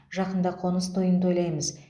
жақында қоныс тойын тойлаймыз